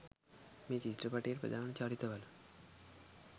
මේ චිත්‍රපටයේ ප්‍රධාන චරිත වල